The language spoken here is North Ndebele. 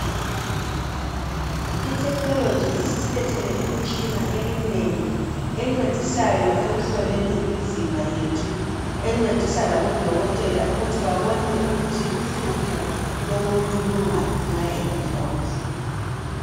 ITechnology isisilethele imtshina eminengi bencedisayo ekuhloleni imizimba yethu encedisa labodokotela ukuthi babone ukuthi uhlupho lomuntu lungaphi nxa engezwa kuhle.